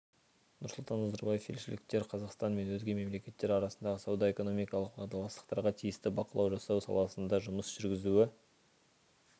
нұрсұлтан назарбаев елшіліктер қазақстан мен өзге мемлекеттер арасындағы сауда-экономикалық уағдаластықтарға тиісті бақылау жасау саласында жұмыс жүргізуі